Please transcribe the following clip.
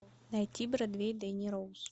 найти бродвей дэнни роуз